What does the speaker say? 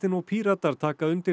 og Píratar taka undir